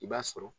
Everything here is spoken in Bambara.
I b'a sɔrɔ